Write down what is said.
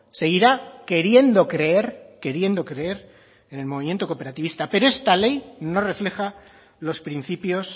seguirá queriendo creer queriendo creer en el movimiento cooperativista pero esta ley no refleja los principios